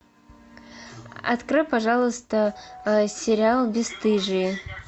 открой пожалуйста сериал бесстыжие